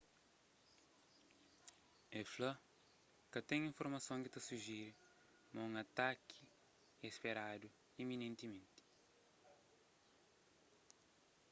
el fla ka ten informason ki ta sujere ma un ataki é speradu iminentimenti